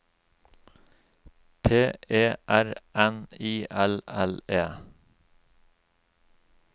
P E R N I L L E